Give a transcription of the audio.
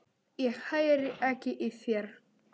Ég heyri ekki í þér.